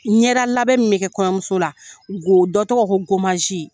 N ɲɛda labɛn min bɛ kɔɲɔmuso la, n'go dɔ tɔgɔ ko